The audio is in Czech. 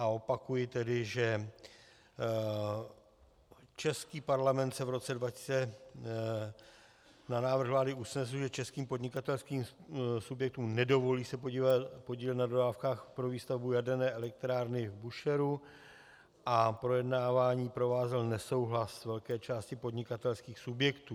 A opakuji tedy, že český Parlament se v roce 2000 na návrh vlády usnesl, že českým podnikatelským subjektům nedovolí se podílet na dodávkách pro výstavbu jaderné elektrárny v Búšehru, a projednávání provázel nesouhlas velké části podnikatelských subjektů.